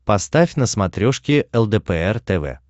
поставь на смотрешке лдпр тв